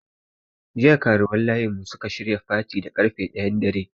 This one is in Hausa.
Jiya karuwan layin mu suka shirya fati da karfe ɗayan dare.